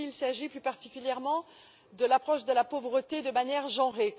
Ici, s'il s'agit plus particulièrement de l'approche de la pauvreté de manière genrée.